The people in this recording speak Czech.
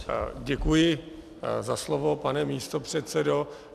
Děkuji za slovo, pane místopředsedo.